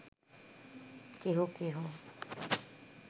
কেহ কেহ